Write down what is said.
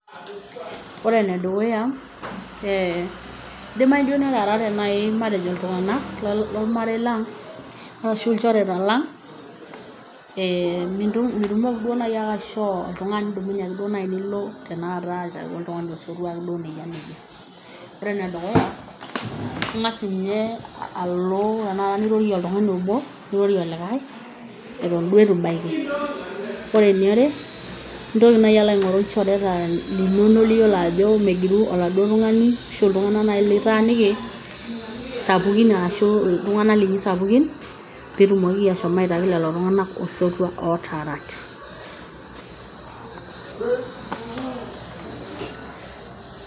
Oore enedukuya, eh, eidimayu duo netaarate naai matejo iltung'anak lormarei lang' arashu ilchoreta lang, eeh mitumoki ake duo naaji ainyio nilo aitaki oltung'ani osotua. Oore enedukuya, ing'as ninye alo nirorie oltung'ani oobo nirooroe olikae eton duo eitu ibaiki. Intoki naaji alo aing'oru ilchoreta linono liyiolo aajo megiru oladuo tung'ani arashu iltung'anak naaji litaaniki sapukin arashu iltung'anak linyi sapukin, peyie itumokiki ashom aitaki lelo tung'anak osotua otaaarate pause.